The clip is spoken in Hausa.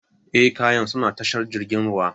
Eh, kayan suna tashar jirgin ruwan.